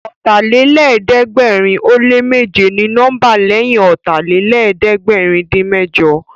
Ọ̀tàlélẹ̀ẹ́dẹ́gbẹ̀rin ó lé méje ni nọ́mbà lẹ́yìn Ọ̀tàlélẹ̀ẹ́dẹ́gbẹ̀rin-dín-mẹ́jọ